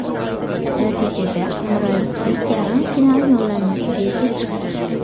Natijada Mirazizbek yarim final yo‘llanmasiga ega chiqdi.